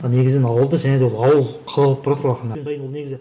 ал негізінен ол да және де ауыл қала болып баратыр ақырын